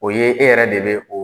O ye e yɛrɛ de bɛ o